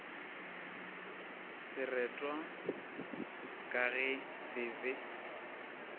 seretwa ka ge se be